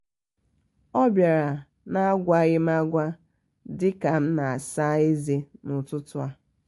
ọ biara na agwaghí m agwa dika m na asa eze na- ọtụtụ ta